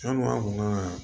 An ka